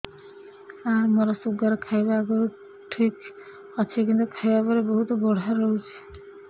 ସାର ମୋର ଶୁଗାର ଖାଇବା ଆଗରୁ ଠିକ ଅଛି କିନ୍ତୁ ଖାଇବା ପରେ ବହୁତ ବଢ଼ା ରହୁଛି